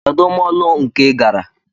Kedụ mọọlụ nke ịgara?